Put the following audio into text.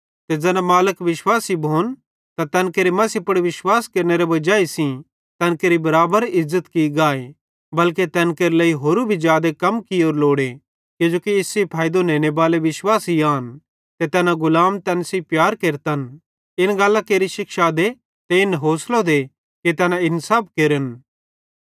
ते ज़ैना मालिक विश्वासी भोन त तैन केरू मसीह पुड़ विश्वास केरनेरे वजाई सेइं तैन केरि बराबर इज़्ज़त की गाए बल्के तैन केरे लेइ होरू भी जादे कम कियोरू लोड़े किजोकि इस सेइं फैइदो नेनेबाले विश्वासी आन ते तैना गुलाम तैन सेइं प्यार केरतन इन गल्लां केरि शिक्षा दे ते इन होसलो दे कि तैना इन सब केरन